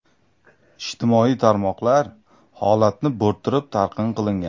Ijtimoiy tarmoqlar holatni bo‘rttirib talqin qilingan.